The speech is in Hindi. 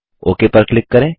ओक पर क्लिक करें